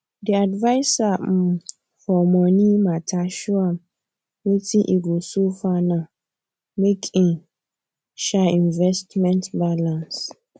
di adviser um for money mata show am wetin e go so for now make im um investment balance